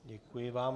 Děkuji vám.